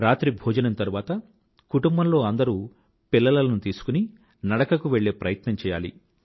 dinner తరువాత కుటుంబంలో అందరూ పిల్లలను తీసుకుని నడకకు వెళ్ళే ప్రయత్నం చెయ్యాలి